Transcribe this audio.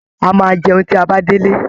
A máa jẹun tí a bá dé'lé